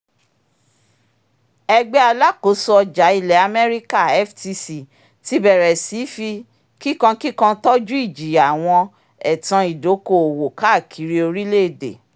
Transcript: ẹgbẹ́ alákóso ọjà ilẹ̀ amẹ́ríkà ftc ti bẹ̀rẹ̀ sí í fi kíkankíkan tọ́jú ìjìyà àwọn ẹ̀tan ìdoko-owó káàkiri orílẹ̀-èdè